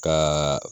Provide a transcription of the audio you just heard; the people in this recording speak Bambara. Ka